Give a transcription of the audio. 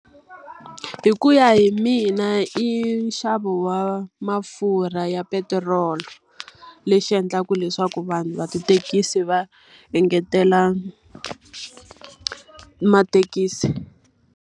Hi ku ya hi mina i nxavo wa mafurha ya petiroli, lexi endlaka leswaku vanhu va tithekisi va engetela mathekisi.